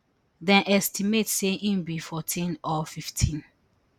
dem estimate say im be fourteen or fifteen